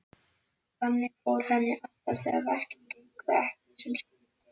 Þannig fór henni alltaf þegar verkin gengu ekki sem skyldi.